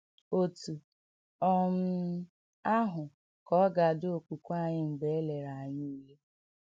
Otú um ahụ ka ọ dị okwukwe anyị mgbe e lere anyị ule.